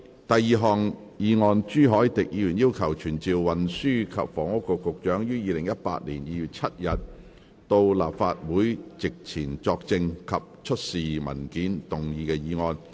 第二項議案：朱凱廸議員要求傳召運輸及房屋局局長於2018年2月7日到立法會席前作證及出示文件而動議的議案。